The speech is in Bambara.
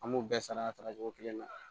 An b'u bɛɛ sara cogo kelen na